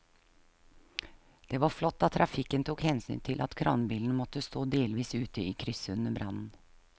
Det var flott at trafikken tok hensyn til at kranbilen måtte stå delvis ute i krysset under brannen.